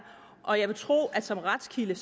og jeg vil tro at som retskilde